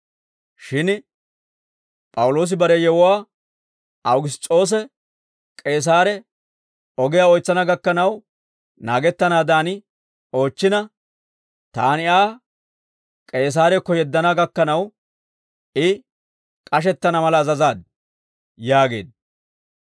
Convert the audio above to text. shin P'awuloosi bare yewuwaa Awugiss's'oose k'eesaare ogiyaa oytsana gakkanaw naagettanaadan oochchina, taani Aa K'eesaarakko yeddana gakkanaw, I k'ashettana mala azazaad» yaageedda.